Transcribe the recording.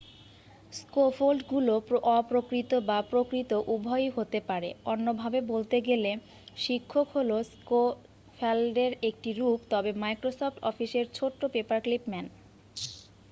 স্ক্যাফোল্ডগুলো অপ্রকৃত বা প্রকৃত উভয়ই হতে পারে অন্য ভাবে বলতে গেলে শিক্ষক হলো স্ক্যাফোল্ডের একটি রূপ তবে মাইক্রোসফ্ট অফিসের ছোট্ট পেপার ক্লিপ ম্যান